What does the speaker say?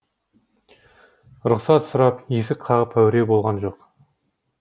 рұқсат сұрап есік қағып әуре болған жоқ